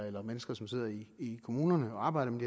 eller mennesker som sidder i kommunerne og arbejder med